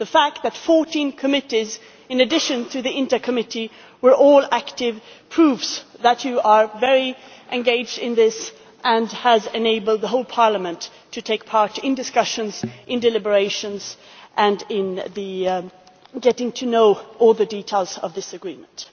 The fact that 14 committees in addition to the Committee on International Trade were all active, proves that Members are very engaged in this and has enabled the whole Parliament to take part in discussions, in deliberations and in getting to know all the details of this agreement.